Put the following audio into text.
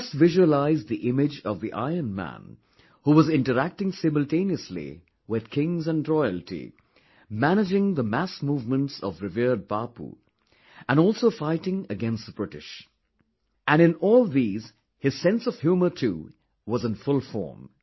Just visualize the image of the Ironman who was interacting simultaneously with kings and royalty, managing the mass movements of revered Bapu, and also fighting against the British... and in all these his sense of humour too was in full form